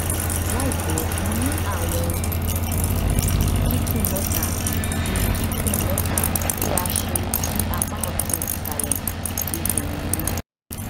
laipẹ mo ni awọn kikun mẹta ti kikun mẹta ti a ṣe si apa ọtun isalẹ ti eyin mi